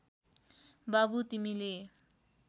बाबु तिमीले